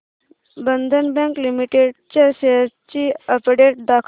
बंधन bank limited च्या shares ची update दाखव